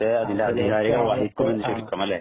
അതിന്‍റെ അധികാരികള്‍ വഹിക്കും എന്ന് ചുരുക്കും അല്ലേ.